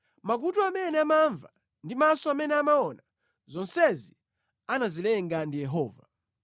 Makutu amene amamva ndi maso amene amaona, zonsezi anazilenga ndi Yehova.